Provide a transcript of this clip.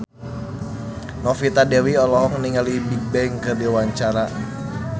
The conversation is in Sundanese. Novita Dewi olohok ningali Bigbang keur diwawancara